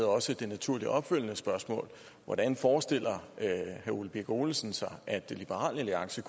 også det naturligt opfølgende spørgsmål hvordan forestiller herre ole birk olesen sig at liberal alliance